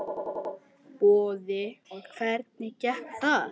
Boði: Og hvernig gekk þar?